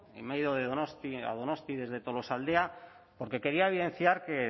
a donostia desde tolosaldea porque quería evidenciar que